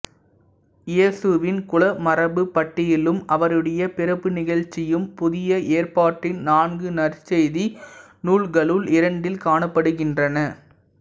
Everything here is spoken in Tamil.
இயேசுவின் குலமரபுப் பட்டியலும் அவருடைய பிறப்பு நிகழ்ச்சியும் புதிய ஏற்பாட்டின் நான்கு நற்செய்தி நூல்களுள் இரண்டில் காணப்படுகின்றன